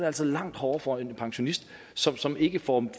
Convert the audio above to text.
altså langt hårdere for en pensionist som som ikke får